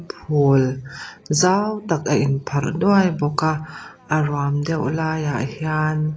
phul zau tak a inpharh duai bawk a a ruam deuh laiah hian--